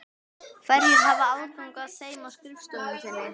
Hverjir hafa aðgang að þeim á skrifstofu þinni?